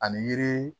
Ani yiri